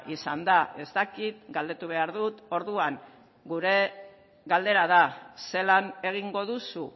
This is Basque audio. izan da ez dakit galdetu behar dut orduan gure galdera da zelan egingo duzu